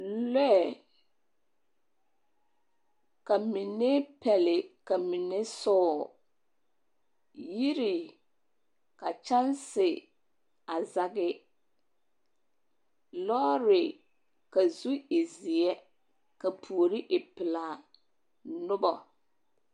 Lɔɛɛ ka mine pɛle ka mine soɔ. Yiri ka kyanse a zage. Lɔɔre ka zu e zeɛ ka puori e pelaa. Nobɔ.